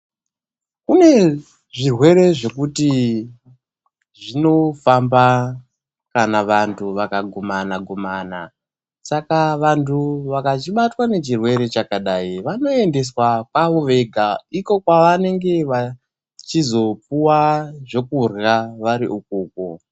Kune zvirwere zvekuti zvinofamba kana vantu vakagumana-gumana. Saka vantu vakachibatwa ngechirwere chakadai, vanoendeswa kwavovega iko kwavanenge vachizopuva zvekurya vari ikoko.